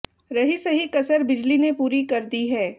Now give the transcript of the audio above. रही सही कसर बिजली ने पूरी कर दी है